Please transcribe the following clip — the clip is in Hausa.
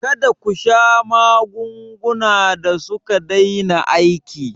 Kada kasha magungunan da suka daina aiki